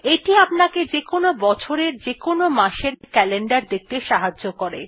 এইটি আপনাকে যেকোন বছরের যেকোন মাস এর ক্যালেন্ডার দেখতে সাহায্য করে